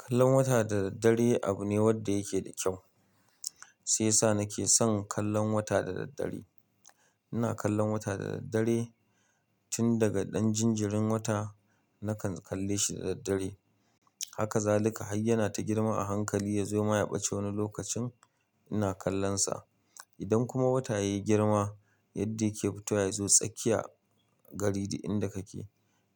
Kallon wata da dare abu ne wanda yake da kyau. Shi ya sa na ke son kallon wata da dare ina kallon wata da daddare tun daga ɗan jinjirin wata nakan kalle shi da dare. Haka za laika har yana ta girma a hankali ya zo ma ya ɓacce wani lokacin. Ina kallon sa. Idan kuma wata yayi girma yadda yake fito ya zo tsakiya gari da inda kake,